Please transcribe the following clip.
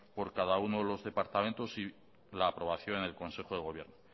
por cada uno de los departamentos y la aprobación en el consejo de gobierno